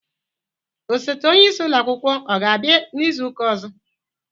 Osote onye isi ulo akwụkwọ ọ ga abia n'izuka ọzọ?